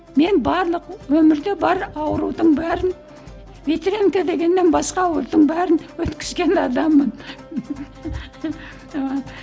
мен барлық өмірде бар аурудың бәрін ветрянка дегеннен басқа аурудың бәрін өткізген адаммын